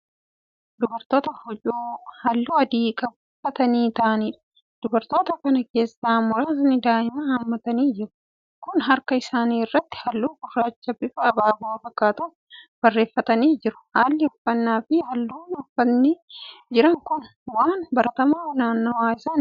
Dubartoota huccuu halluu adii qabu uffatanii taa'aniidha. dubartoota Kana keessaa muraasni daa'ima hammatanii jiru. kuun harka isaanii irratti halluu gurraacha bifa abaaboo fakkaatuun barreeffatanii jiru. haalli uffaannafi halluun uffatanii Jiran Kun waan baratamaa naannawa isaaniiti.